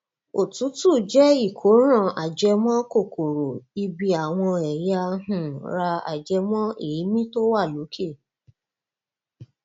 òtútù jẹ ìkóràn ajẹmọ kòkòrò ibi àwọn ẹya um ra ajẹmọ èémí tó wà lókè